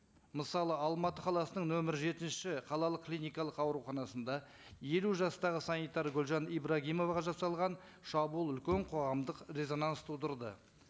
мысалы алматы қаласының нөмір жетінші қалалық клиникалық ауруханасында елу жастағы санитар гүлжан ибрагимоваға жасалған шабуыл үлкен қоғамдық резонанс тудырды